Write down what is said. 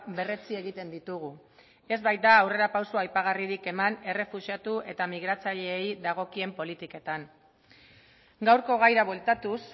berretsi egiten ditugu ez baita aurrerapauso aipagarririk eman errefuxiatu eta migratzaileei dagokien politiketan gaurko gaira bueltatuz